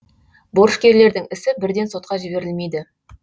борышкерлердің ісі бірден сотқа жіберілмейді